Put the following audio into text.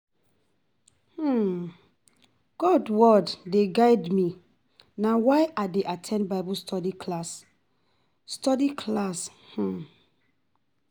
God word dey guide me, na why I dey at ten d Bible study class. study class. um